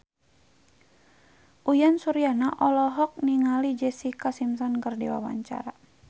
Uyan Suryana olohok ningali Jessica Simpson keur diwawancara